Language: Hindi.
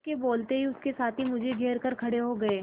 उसके बोलते ही उसके साथी मुझे घेर कर खड़े हो गए